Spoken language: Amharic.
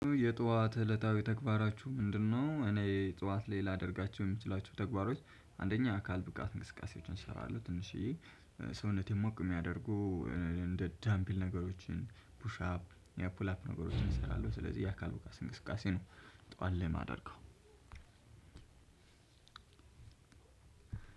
የጧት እለታዊ ተግባራችሁ ምንድነው? እኔ ጧት ላይ ላደርጋችሁ የምትችላቸው ተግባሮች አንደኛ የአካል ብቃት ንቅስቃሴዎችን እሰራለሁ ትንሽዬ ሰውነቴን ሞቅ የሚያደርጉ እንደ ዳምፒል ነገሮችን ፑሽ አፕ እና ፑል አፕ ነገሮችን እሰራለሁ ስለዚህ የአካል ብቃት እንቅስቃሴ ነው። ጠዋት ላይ የማደርገው